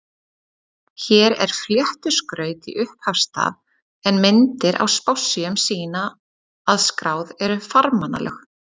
Hér er fléttu skraut í upphafsstaf, en myndir á spássíum sýna að skráð eru farmannalög.